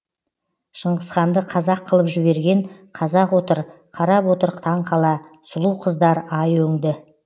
шыңғысханды қазақ қылып жіберген қазақ отыр қарап отыр таңқала сұлу қыздар ай өңді